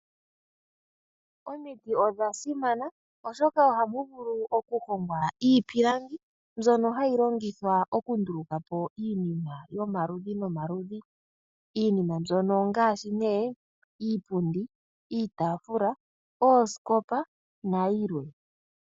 Omiti odha simana oshoka ohamu vulu okuhongwa iipilangi, mbyono hayi longithwa okunduluka po iinima yomaludhi nomaludhi. Iinima mbyono ongaashi nee, iipundi, iitaafula, oosikopa, nayilwe.